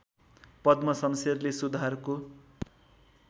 पद्म शमशेरले सुधारको